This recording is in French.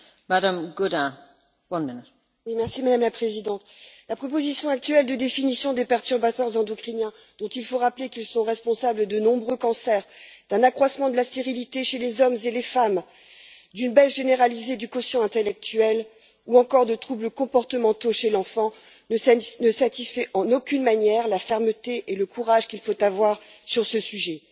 Madame la Présidente, la proposition actuelle de définition des perturbateurs endocriniens, dont il faut rappeler qu'ils sont responsables de nombreux cancers, d'un accroissement de la stérilité chez les hommes et les femmes, d'une baisse généralisée du quotient intellectuel, ou encore de troubles comportementaux chez l'enfant, n'est en aucune façon à la hauteur de la fermeté et du courage qu'il faut avoir sur ce sujet.